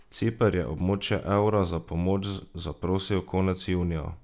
Ciper je območje evra za pomoč zaprosil konec junija.